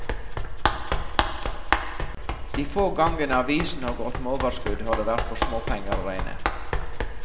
De få gangene avisen har gått med overskudd, har det vært for småpenger å regne.